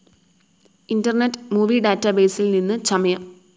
internet movie ഡാറ്റബേസിൽ നിന്ന് ചമയം